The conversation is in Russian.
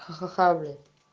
ха-ха-ха блять